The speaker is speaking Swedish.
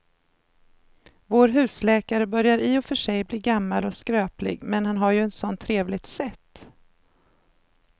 Vår husläkare börjar i och för sig bli gammal och skröplig, men han har ju ett sådant trevligt sätt!